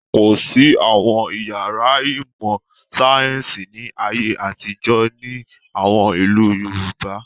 Kò sí àwọn ìyàrá ìmọ̀-sáyẹ́ńsì ní ayé àtijọ́ ní àwọn ìlú Yorùbá.